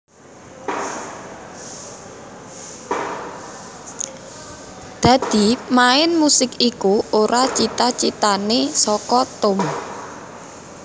Dadi main musik iku ora cita citane saka Tom